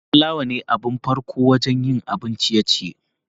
plawa ne abin farko wajen yin abun ciye-ciye.